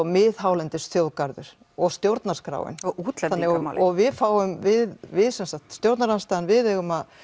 miðhálendisþjóðgarður og stjórnarskráin við við við stjórnarandstaðan við eigum að